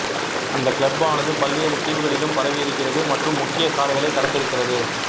அந்தக் கிளப்பானது பல்வேறு தீவுகளிலும் பரவியிருக்கிறது மற்றும் முக்கிய சாலைகளைக் கடந்திருக்கிறது